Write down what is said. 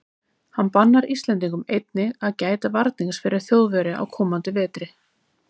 Hann bannar íslendingum einnig að gæta varnings fyrir Þjóðverja á komandi vetri.